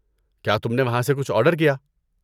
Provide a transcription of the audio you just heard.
کیا تم نے وہاں سے کچھ آرڈر کیا؟